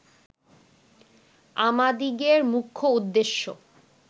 আমাদিগের মুখ্য উদ্দেশ্য